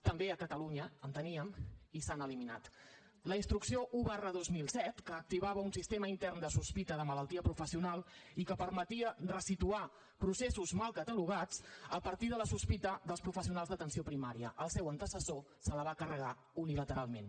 també a catalunya en teníem i s’han eliminat la instrucció un dos mil set que activava un sistema intern de sospita de malaltia professional i que permetia ressituar processos mal catalogats a partir de la sospita dels professionals d’atenció primària el seu antecessor se la va carregar unilateralment